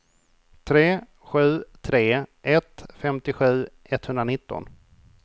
tre sju tre ett femtiosju etthundranitton